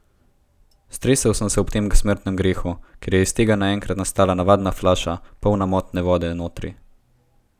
Stresel sem se ob tem smrtnem grehu, ker je iz tega naenkrat nastala navadna flaša, polna motne vode notri!